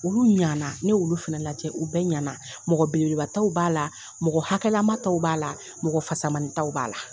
Olu ɲana ne y'olu fana lajɛ u bɛɛ ɲɛna mɔgɔ belebelebataw b'a la mɔgɔ hakɛlamataw b'a la mɔgɔfasamanintaw b'a la